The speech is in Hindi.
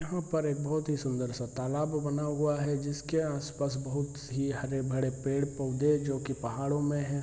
यहाँ पर एक बहोत ही सुन्दर-सा तालाब बना हुआ है जिसके आस-पास बहोत ही हरे-भरे पेड़-पौधे जो की पहाड़ों मैं हैं।